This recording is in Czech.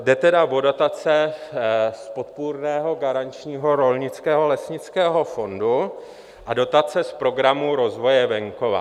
Jde tedy o dotace Podpůrného garančního rolnického a lesnického fondu a dotace z Programu rozvoje venkova.